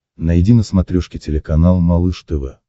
найди на смотрешке телеканал малыш тв